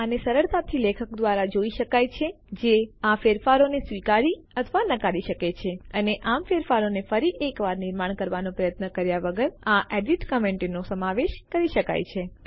આને સરળતાથી લેખક દ્વારા જોઈ શકાય છે જે આ ફેરફારોને સ્વીકારી અથવા નકારી શકે છે અને આમ ફેરફારોને ફરી એકવાર નિર્માણ કરવાનો પ્રયત્ન કર્યા વગર આ એડીટ કમેન્ટો ફેરફાર કરાવનાર ટિપ્પણીઓનો સમાવેશ કરી શકે છે